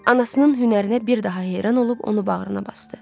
Anasının hünərinə bir daha heyran olub onu bağrına basdı.